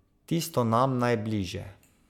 Tisto nam najbližje.